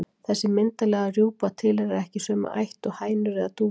Þessi myndarlega rjúpa tilheyrir ekki sömu ætt og hænur eða dúfur.